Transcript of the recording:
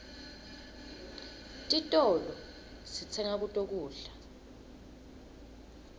titolo sitsenga kuto kudla